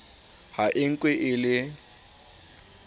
ha e nkwe e le